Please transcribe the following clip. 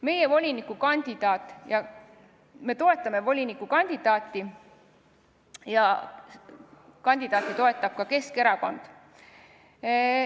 Meie fraktsioon toetab volinikukandidaati ja teda toetab ka kogu Keskerakond.